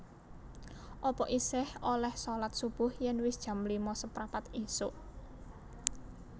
Apa isih oleh solat subuh yen wis jam lima seprapat isuk?